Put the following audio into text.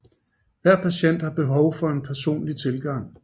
Hver patient har behov for en personlig tilgang